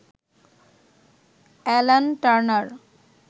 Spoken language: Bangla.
Alan Turner